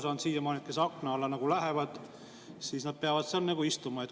Ma olen siiamaani aru saanud nii, et kes akna alla lähevad, peavadki seal istuma.